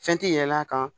Fɛn ti yɛl'a kan